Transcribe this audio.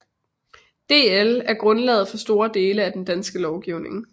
DL er grundlaget for store dele af den danske lovgivning